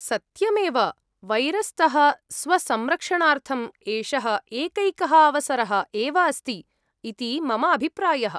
सत्यमेव, वैरस्तः स्वसंरक्षणार्थम् एषः एकैकः अवसरः एव अस्ति इति मम अभिप्रायः।